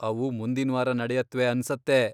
ಅವು ಮುಂದಿನ್ವಾರ ನಡೆಯತ್ವೆ ಅನ್ಸತ್ತೆ.